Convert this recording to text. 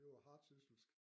Det var hardsysselsk